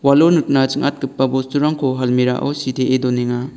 walo nikna ching·atgipa bosturangko almirah-o sitee donenga.